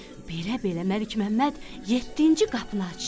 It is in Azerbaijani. Belə-belə Məlikməmməd yeddinci qapını açdı.